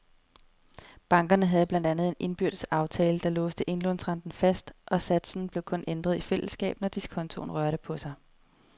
Bankerne havde blandt andet en indbyrdes aftale, der låste indlånsrenten fast, og satsen blev kun ændret i fællesskab, når diskontoen rørte på sig.